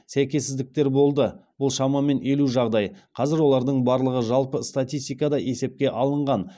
сәйкессіздіктер болды бұл шамамен елу жағдай қазір олардың барлығы жалпы статистикада есепке алынған